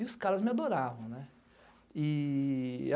E os caras me adoravam.